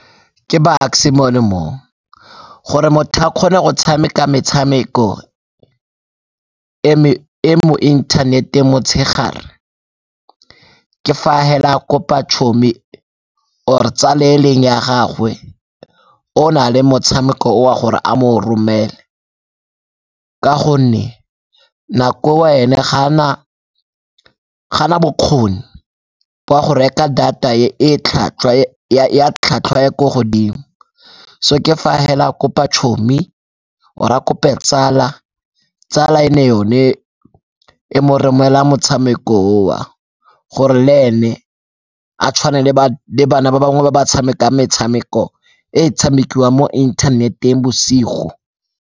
Ke Bucks-e mono mo, gore motho a kgone go tshameka metshameko e mo inthaneteng motshegare ke fa hela a kopa chommie or-e tsala e e leng ya gagwe o o na le motshameko o gore a mo o romele ka gonne nako eo ene ga a na bokgoni ba go reka data ya tlhatlhwa ya ko godimo so ke fa hela a kopa chommie or-e a kope tsala. Tsala e nne yone e mo romela motshameko o gore le ene a tshwane le bana ba bangwe ba ba tshameka metshameko e e tshamekiwang mo inthaneteng bosigo.